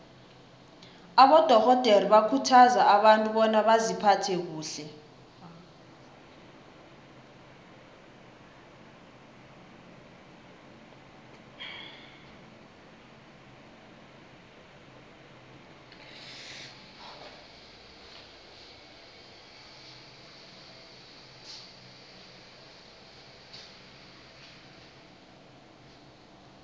abadorhodere bakhuthaza abantu bona baziphathe kuhle